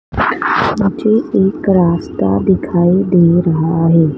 मुझे एक रास्ता दिखाई दे रहा हैं।